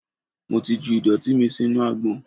Mo ti ju ìdọ̀tí mi sínú agbọ̀n.